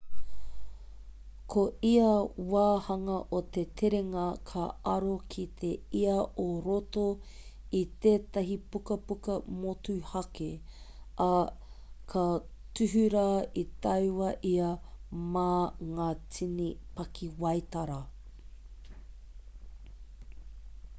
ko ia wāhanga o te terenga ka aro ki te ia o roto i tētahi pukapuka motuhake ā ka tuhura i taua ia mā ngā tini pakiwaitara